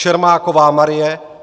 Čermáková Marie